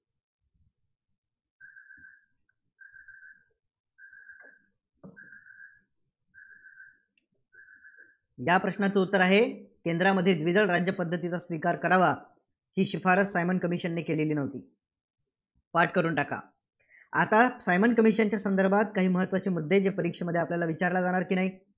या प्रश्नाचं उत्तर आहे, केंद्रामध्ये द्विदल राज्यपद्धतीचा स्वीकार करावा, ही शिफारस सायमन Commission ने केलेली नव्हती. पाठ करून टाका. आता सायमन commission च्या संदर्भात काही महत्त्वाचे मुद्दे परीक्षेत आपल्याला विचारल्या जाणार की नाही?